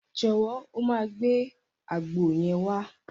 Jọ̀wọ́, o máa gbé àgbo yẹn wá.